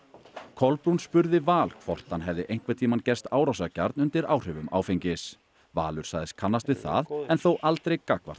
Kolbrún spurði Val hvort hann hefði einhvern tímann gerst árásargjarn undir áhrifum áfengis Valur sagðist kannast við það en þó aldrei gagnvart